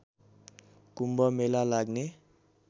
कुम्भ मेला लाग्ने